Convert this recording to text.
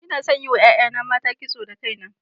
Ina son yin wa 'ya'yana mata kiso da kaina.